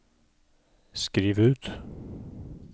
skriv ut